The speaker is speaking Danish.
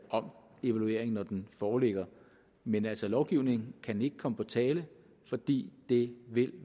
om evalueringen når den foreligger men altså lovgivning kan ikke komme på tale fordi det vil